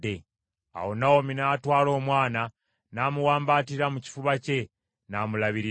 Awo Nawomi n’atwala omwana, n’amuwambaatira mu kifuba kye, n’amulabirira.